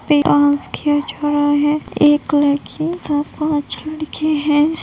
Dance किया जा रहा है एक लड़की और पांच लड़के है।